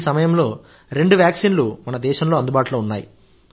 ఈ సమయంలో రెండు వ్యాక్సిన్లు మన దేశంలో అందుబాటులో ఉన్నాయి